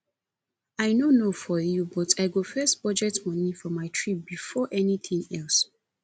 i no know for you but i go first budget money for my trip before anything else